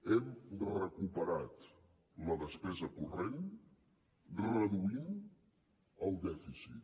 hem recuperat la despesa corrent reduint el dèficit